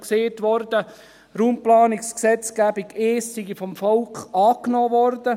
Es wurde auch gesagt, die Raumplanungsgesetzgebung 1 sei vom Volk angenommen worden.